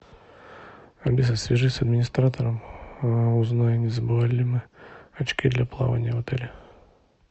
алиса свяжись с администратором узнай не забывали ли мы очки для плавания в отеле